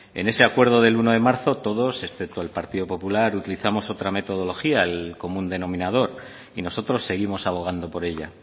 en ese acuerdo del uno de marzo todos excepto el partido popular utilizamos otra metodología el común denominador y nosotros seguimos abogando por ella